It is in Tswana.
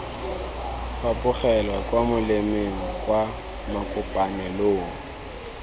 fapogela kwa molemeng kwa makopanelong